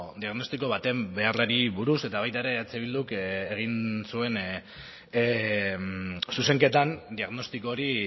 diagnostiko baten beharrari buruz eta baita ere eh bilduk egin zuen zuzenketan diagnostiko hori